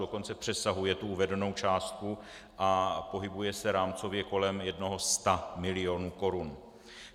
Dokonce přesahuje tu uvedenou částku a pohybuje se rámcově kolem jednoho sta milionu korun.